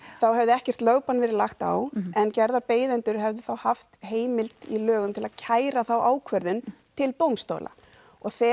þá hefði ekkert lögbann verið lagt á en gerðarbeiðendur hefðu þá haft heimild í lögum til að kæra þá ákvörðun til dómstóla og þegar